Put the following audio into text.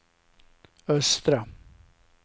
östra